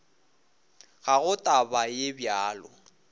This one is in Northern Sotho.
ga go taba ye bjalo